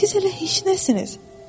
Siz hələ heç nəsiniz.